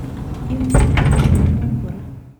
Imuch ko neng'ung' kora.